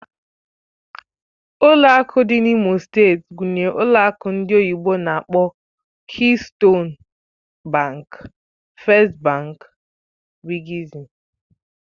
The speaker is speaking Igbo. Ụlọ akụ dị na imo steeti gụnyere ụlọ akụ ndị oyibo n'akpọ "Keystone bank", "First Bank" wgz